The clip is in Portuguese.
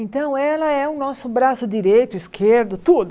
Então ela é o nosso braço direito, esquerdo, tudo.